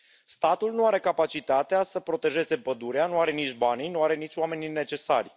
Statul nu are capacitatea să protejeze pădurea, nu are nici banii, nu are nici oamenii necesari.